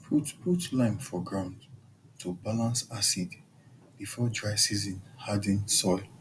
put put lime for ground to balance acid before dry season harden soil